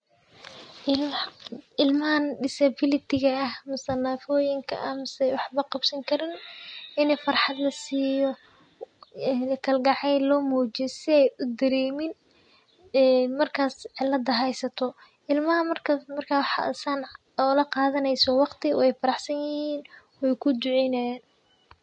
Ilmahan disability ah misena nafoyinka ah misenah waxba qabsankarin ini farxad lasiyo kalgacel lo mujiyo si ay udaremin markas cilada haysata, ilmaha markas marka laqadaneyso waqti way faraxsan yihin way kuduceynayin.